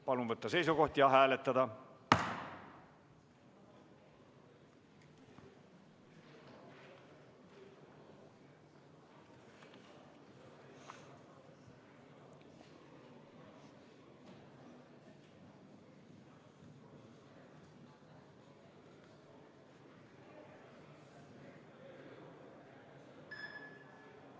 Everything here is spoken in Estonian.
Palun võtta seisukoht ja hääletada!